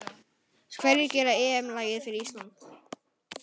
Hverjir gera EM lagið fyrir Ísland???